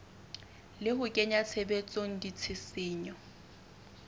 le ho kenya tshebetsong ditshisinyo